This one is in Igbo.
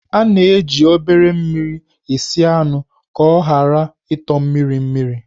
A na-eji obere mmiri esi anụ ka ọ ghara ịtọ mmiri mmiri.